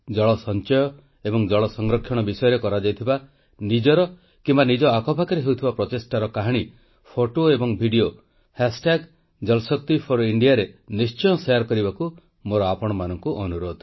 ଜଳ ସଂଚୟ ଏବଂ ଜଳ ସଂରକ୍ଷଣ ବିଷୟରେ କରାଯାଇଥିବା ନିଜର କିମ୍ବା ନିଜ ଆଖପାଖରେ ହେଉଥିବା ପ୍ରଚେଷ୍ଟାର କାହାଣୀ ଫଟୋ ଏବଂ ଭିଡିଓ ହାଶଟ୍ୟାଗ ଜଳଶକ୍ତି ଫର ଇଣ୍ଡିଆରେ ନିଶ୍ଚୟ ଶେୟାର କରିବାକୁ ମୋର ଆପଣମାନଙ୍କୁ ଅନୁରୋଧ